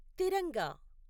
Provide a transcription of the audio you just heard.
తిరంగా